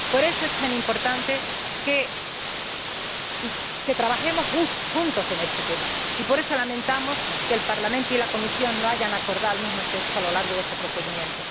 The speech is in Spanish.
Por eso es tan importante que trabajemos juntos en este tema y por eso lamentamos que el Parlamento y la Comisión no hayan acordado el mismo texto a lo largo de este procedimiento.